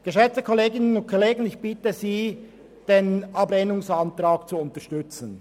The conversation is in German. Geschätzte Kolleginnen und Kollegen, ich bitte Sie, den Ablehnungsantrag zu unterstützen.